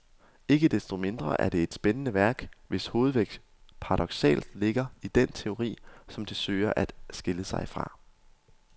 Ikke desto mindre er det et spændende værk, hvis hovedvægt paradoksalt ligger i den teori som det søger at skille sig fra.